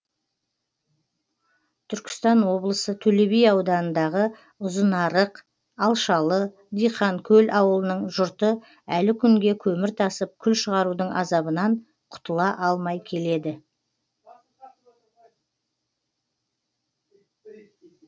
түркістан облысы төле би ауданындағы ұзынарық алшалы диқанкөл ауылының жұрты әлі күнге көмір тасып күл шығарудың азабынан құтыла алмай келеді